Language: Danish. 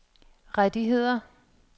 rettigheder